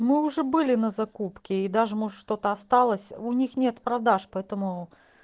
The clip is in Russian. мы уже были на закупке и даже может что-то осталось у них нет продаж поэтому